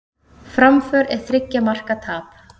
Framför en þriggja marka tap